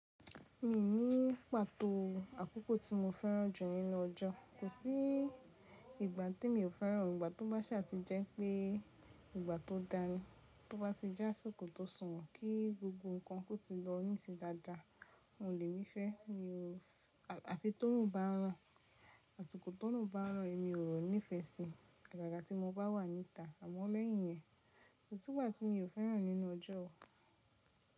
Mi o ní pàtó àkókò tí mo fẹ́ràn jù nínú ọjọ́. Kò sí ìgbà tí mi ò fẹ́ràn. Ìgbà tó bá sà ti jẹ́ pé ìgbà tó dáa ni, tó bá ti jẹ́ àsìkò tó sùnwọ̀n, kí gbogbo nnkan kó ti lọ ní ti dáadáa, oun lèmi fe. Mi o, Àfi torun bá ràn, àsìkò torun bá ràn, èmi o nífẹ́ sì. Agaga tí mo bá wà níta. Àmọ́ lẹ́yìn iyẹn kò sígba tí mi ò fẹ́ràn nínú ọjọ́ o.